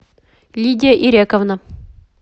лидия ирековна